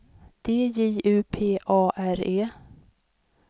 D J U P A R E